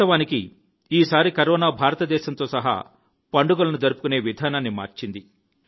వాస్తవానికి ఈసారి కరోనా భారతదేశంతో సహా పండుగలను జరుపుకునే విధానాన్ని మార్చింది